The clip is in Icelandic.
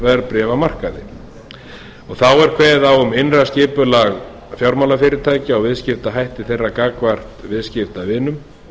verðbréfamarkaði þá er kveðið á um innra skipulag fjármálafyrirtækja og viðskiptahætti þeirra gagnvart viðskiptavinum